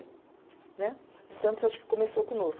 Né. O de Santos eu acho que começou conosco.